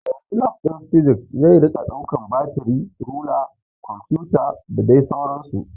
Daga yanzu Lab ɗin Physics zai rika ɗaukan batiri, rula, kumfuta da dai sauran su